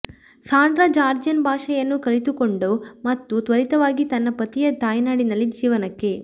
Sandra Georgian ಭಾಷೆಯನ್ನು ಕಲಿತುಕೊಂಡ ಮತ್ತು ತ್ವರಿತವಾಗಿ ತನ್ನ ಪತಿಯ ತಾಯ್ನಾಡಿನಲ್ಲಿ ಜೀವನಕ್ಕೆ